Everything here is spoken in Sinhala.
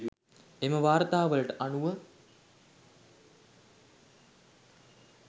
එම වාර්තාවලට අනුව